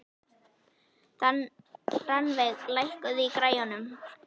Rannveig, lækkaðu í græjunum.